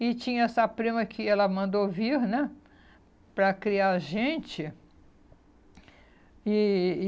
E tinha essa prima que ela mandou vir, né, para criar a gente. E e